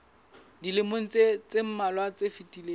dilemong tse mmalwa tse fetileng